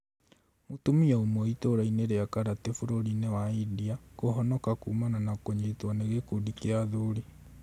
Mũtumia ũmwe itũra-inĩ ria karatĩ bũrũri wa ĩndia kũhonoka kũmana na kũnyitwo nĩ gĩkundi kĩa athuri